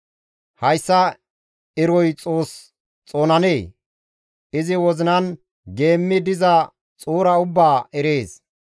hayssa eroy Xoos xoonanee? Izi wozinan geemmi diza xuura ubbaa erees